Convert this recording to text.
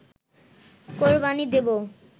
কোরবানি দেব